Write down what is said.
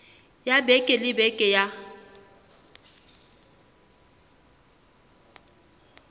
ya beke le beke ya